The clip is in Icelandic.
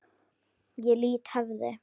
Ég lýt höfði.